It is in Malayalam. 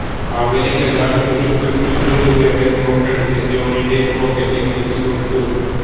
അവരിലൊരാൾ ഒരു അഞ്ഞൂറു രൂപയുടെ നോട്ടെടുത്ത് ജോണിന്റെ പോക്കറ്റിൽ വെച്ചുകൊടുത്തു